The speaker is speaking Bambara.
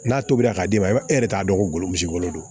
N'a tobira ka d'i ma i b'a e yɛrɛ t'a dɔn ko golo don